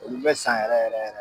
Olu bɛ san yɛrɛ yɛrɛ